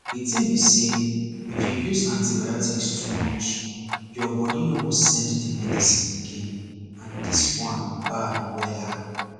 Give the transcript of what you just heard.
the tin be say if you use antibiotics too much your body no go send the medicine again and this one bad wella